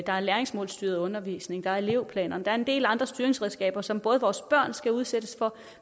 der er læringsmålstyret undervisning der er elevplanerne der er en del andre styringsredskaber som både vores børn skal udsættes for